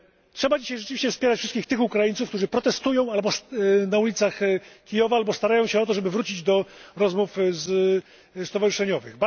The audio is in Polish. Trzeba dzisiaj rzeczywiście wspierać wszystkich tych Ukraińców, którzy protestują na ulicach Kijowa, albo starają się o to, żeby wrócić do rozmów stowarzyszeniowych.